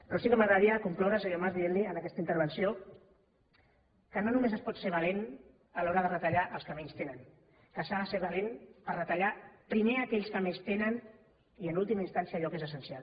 però sí que m’agradaria concloure senyor mas dient li en aquesta intervenció que no només es pot ser valent a l’hora de retallar als que menys tenen que s’ha de ser valent per retallar primer aquells que més tenen i en última instància allò que és essencial